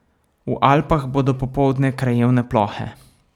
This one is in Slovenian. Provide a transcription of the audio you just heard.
V Alpah bodo popoldne krajevne plohe.